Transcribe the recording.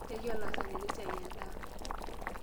Yaki olaasani lesiai endaa.